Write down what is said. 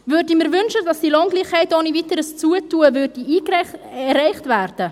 Würde ich mir wünschen, dass die Lohngleichheit ohne weiteres Dazutun erreicht wird?